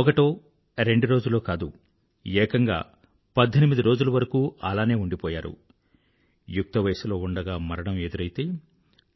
ఒకటో రెండు రోజులో కాదు ఏకంగా పధ్ధెనిమిది రోజులు వరకూ అలానే ఉండిపోయారు యుక్తవయసులో ఉండగా మరణం ఎదురైతే